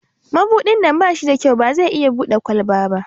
Mabudin nan ba shi da kyau, ba zai Bude kwalban ba.